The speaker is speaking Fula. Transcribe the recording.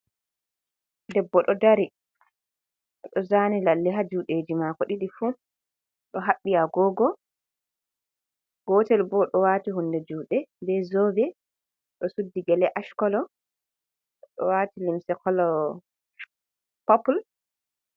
Debbo ɗo dari bo oɗo zani lalle juɗe ji mako ɗiɗi fu ɗo haɓɓi agogo gotel ɓo oɗo wati hunde juɗe be zobe ɗo suddi gele ashkolo ɗo wati limse kolo popul.